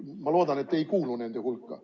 Ma loodan, et te ei kuulu nende hulka.